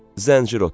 Zəncir otu.